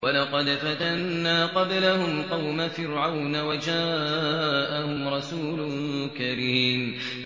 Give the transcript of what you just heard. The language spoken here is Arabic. ۞ وَلَقَدْ فَتَنَّا قَبْلَهُمْ قَوْمَ فِرْعَوْنَ وَجَاءَهُمْ رَسُولٌ كَرِيمٌ